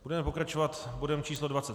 Budeme pokračovat bodem číslo